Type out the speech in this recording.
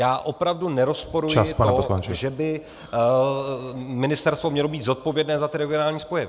Já opravdu nerozporuji to , že by ministerstvo mělo být zodpovědné za ty regionální spoje.